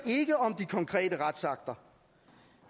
ikke om de konkrete retsakter